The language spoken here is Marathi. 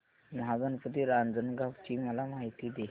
महागणपती रांजणगाव ची मला माहिती दे